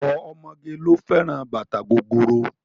Ọ̀pọ̀ ọmọge ló fẹ́ràn bàtà gogoro.